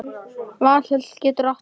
Valhöll getur átt við